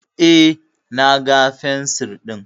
Eh, na ga fensir din